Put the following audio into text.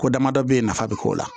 Ko damadɔ ye nafa bɛ k'o la